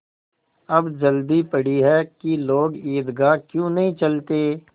अब जल्दी पड़ी है कि लोग ईदगाह क्यों नहीं चलते